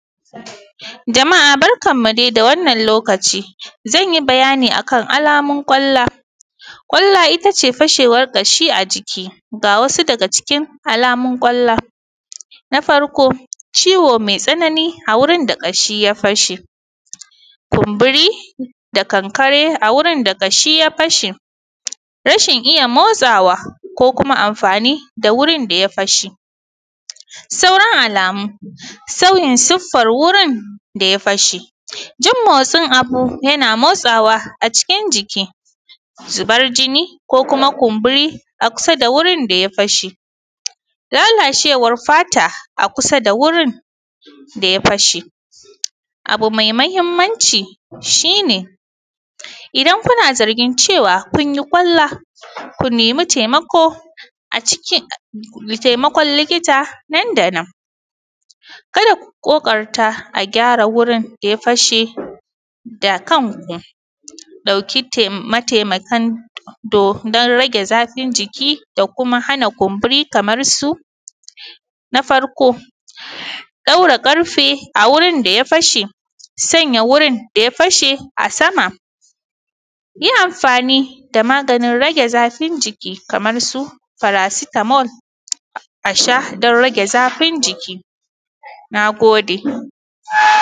Jama'a barkan mu dai da wannan lokaci zan yi bayani akan alamun kwalla, kwalla ita ce fashewan ƙashi a jiki ga wasu daga cikin alamun kwalla na farko ciwo mai tsanani a wurin da ƙashi ya fashe, kumburi da kankare a wurin da ƙashi ya fashe rashin iya motsawa ko kuma amfani da wurin da ƙashi ya fashe sauran alamun sauyin suffan wurin da ya fashe jin motin abu yana motawa a cikin jiki zubar jini ko kuma kumburi a kusa da wuri da ya fashe lalacewan fata a kusa da wurin da ya fashe abu mai mahinimanci shi ne idan kuna zargin cewa kuni kwalla ku nemi taimako a cikin taimako likita nan da nan ka da ku ƙoƙarta a gyara gurin da ya fashe da kanku ɗauki taimataki kan don rage zafin jiki da kuma hana kumburi kamar suna farko ɗaura ƙarfe a wurin da ya fashe sanya wurin da ya fashe a sama yi amfani da maganin rage zafin jiki kamar su farasitamol a sha don rage zafin jiki na gode.